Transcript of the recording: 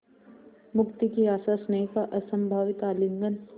मुक्ति की आशास्नेह का असंभावित आलिंगन